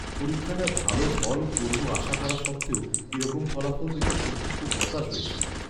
পরীক্ষাটায় ভালো ফল করবো আশা করা সত্ত্বেও এরকম ফলাফল দেখে সত্যিই খুব হতাশ হয়েছি।